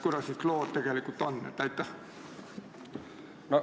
Kuidas siis lood tegelikult on?